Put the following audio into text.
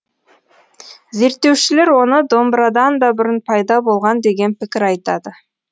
зерттеушілер оны домбырадан да бұрын пайда болған деген пікір айтады